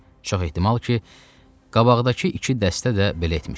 Çox ehtimal ki, qabaqdakı iki dəstə də belə etmişdi.